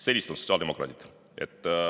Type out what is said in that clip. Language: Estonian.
Sellised on sotsiaaldemokraadid.